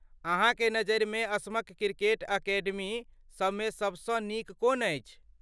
अहाँके नजरिमे असमक क्रिकेट अकेडमी सभमे सभसँ नीक कोन अछि?